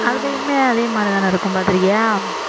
அதுலயுமே அதே மாதிரிதானே இருக்கும் பாத்திருக்கியா